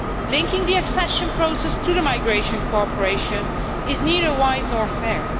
Linking the accession process to migration cooperation is neither wise nor fair.